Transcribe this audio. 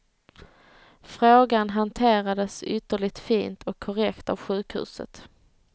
Frågan hanterades ytterligt fint och korrekt av sjukhuset.